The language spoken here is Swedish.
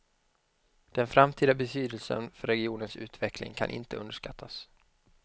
Den framtida betydelsen för regionens utveckling kan inte underskattas.